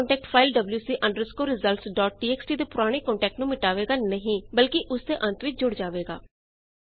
ਨਵਾਂ content file WC underscore results dot TXT ਦੇ ਪੁਰਾਣੇ ਕੰਟੈਟ ਨੂੰ ਮਿਟਾਵੇਗਾ ਨਹੀਂ ਬਲਕਿ ਉਸਦੇ ਅੰਤ ਵਿੱਚ ਜੁੜ ਜਾਵੇਗਾ